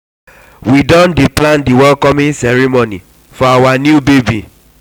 we don dey plan di welcoming ceremony for our new baby.